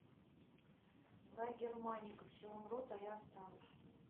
гай германика все умрут а я останусь